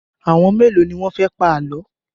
Àwọn mélòó ni wọ́n fẹ́ pa àlọ́?